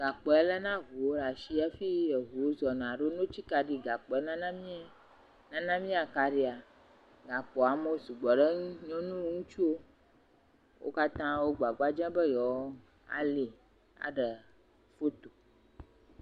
Gakpo ya lena ŋuwo ɖe asi hafi wozɔna, alo ne wotsi kaɖia gakpo ya nana m] nana m] akaɖia, gakpoa amewo sugbɔ ɖe eŋuti, nyɔnuwo, ŋutsuwo, wo katã wo gbagbadzem be yewoali aɖe foto.